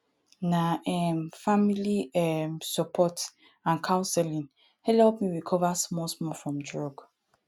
na um family um support and counseling helep me recover small small from drug